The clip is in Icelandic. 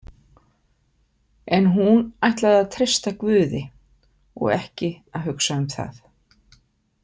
En hún ætlaði að treysta Guði og ekki að hugsa um það.